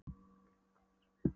Vilhjálmi að koma strax í skoðun.